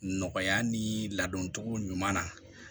Nɔgɔya ni ladoncogo ɲuman na